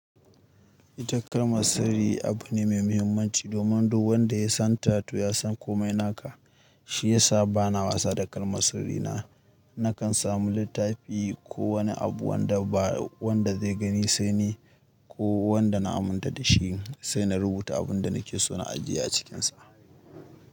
Ita kalmar sirri abu ne mai muhimmanci domin duk wanda ya santa to ya san komai naka. Shi ya sa bana wasa da kalmar sirri na. Nakan samu littafi ko wani abu wanda ba wanda zai gani sai ni ko wanda na aminta da shi sai na rubuta abin da nake so na ajiye a cikinsa.